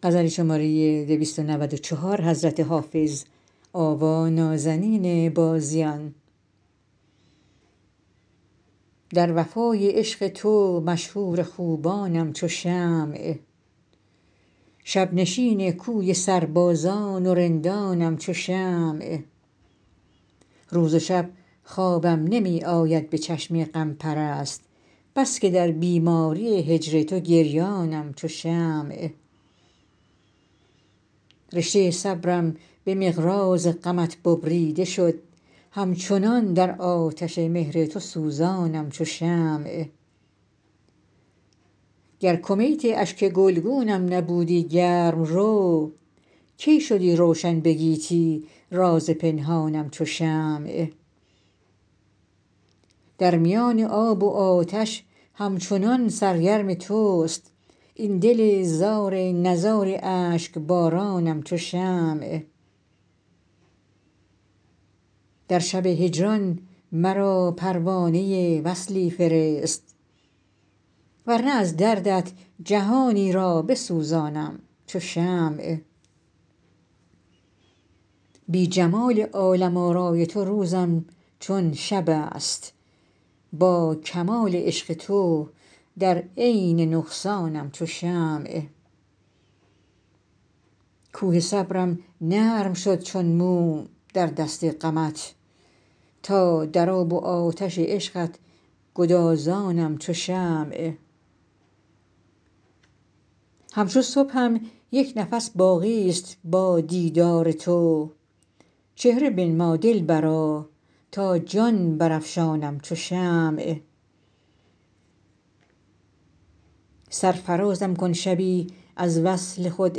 در وفای عشق تو مشهور خوبانم چو شمع شب نشین کوی سربازان و رندانم چو شمع روز و شب خوابم نمی آید به چشم غم پرست بس که در بیماری هجر تو گریانم چو شمع رشته صبرم به مقراض غمت ببریده شد همچنان در آتش مهر تو سوزانم چو شمع گر کمیت اشک گلگونم نبودی گرم رو کی شدی روشن به گیتی راز پنهانم چو شمع در میان آب و آتش همچنان سرگرم توست این دل زار نزار اشک بارانم چو شمع در شب هجران مرا پروانه وصلی فرست ور نه از دردت جهانی را بسوزانم چو شمع بی جمال عالم آرای تو روزم چون شب است با کمال عشق تو در عین نقصانم چو شمع کوه صبرم نرم شد چون موم در دست غمت تا در آب و آتش عشقت گدازانم چو شمع همچو صبحم یک نفس باقی ست با دیدار تو چهره بنما دلبرا تا جان برافشانم چو شمع سرفرازم کن شبی از وصل خود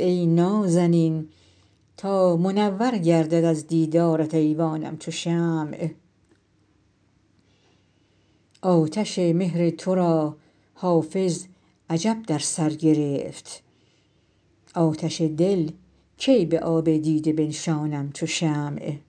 ای نازنین تا منور گردد از دیدارت ایوانم چو شمع آتش مهر تو را حافظ عجب در سر گرفت آتش دل کی به آب دیده بنشانم چو شمع